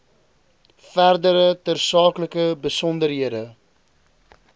verdere tersaaklike besonderhede